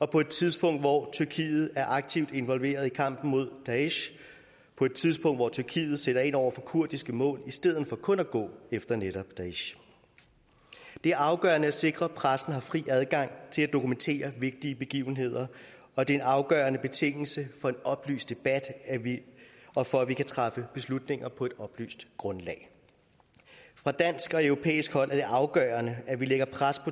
på et tidspunkt hvor tyrkiet er aktivt involveret i kampen mod daesh på et tidspunkt hvor tyrkiet sætter ind over for kurdiske mål i stedet for kun at gå efter netop daesh det er afgørende at sikre at pressen har fri adgang til at dokumentere vigtige begivenheder og det er en afgørende betingelse for en oplyst debat og for at vi kan træffe beslutninger på et oplyst grundlag fra dansk og europæisk side er det afgørende at vi lægger pres